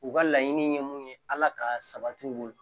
U ka laɲini ye mun ye ala ka sabati u bolo